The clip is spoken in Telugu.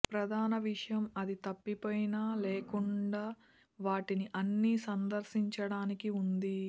ప్రధాన విషయం అది తప్పిపోయిన లేకుండా వాటిని అన్ని సందర్శించడానికి ఉంది